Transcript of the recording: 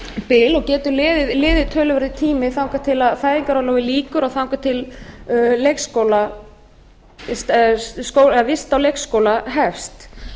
bil og getur liðið töluverður tími þangað til fæðingarorlofi lýkur og þangað til vist á leikskóla hefst